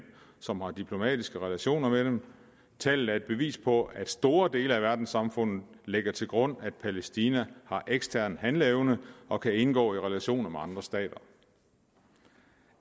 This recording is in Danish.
som har diplomatiske relationer med dem tallet er et bevis på at store dele af verdenssamfundet lægger til grund at palæstina har ekstern handeevne og kan indgå i relationer med andre stater